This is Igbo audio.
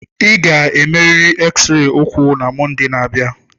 Ị ga-emerịrị X-ray ụkwụ na Mọnde na-abịa.